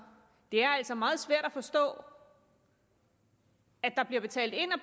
det er altså meget svært at forstå at der bliver betalt ind og